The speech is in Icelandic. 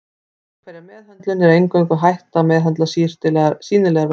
Við hverja meðhöndlun er eingöngu hægt að meðhöndla sýnilegar vörtur.